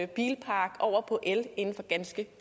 bilpark over på el inden for ganske